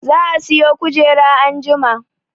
Za a siyo kujera anjima